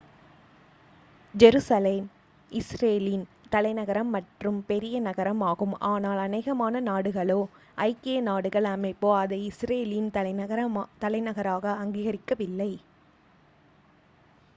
Jerusalem இஸ்ரேலின் தலைநகரம் மற்றும் பெரிய நகரம் ஆகும் ஆனால் அநேகமான நாடுகளோ ஐக்கிய நாடுகள் அமைப்போ அதை இஸ்ரேலின் தலைநகராக அங்கீகரிக்கவில்லை